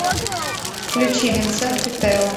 включи винсент и тео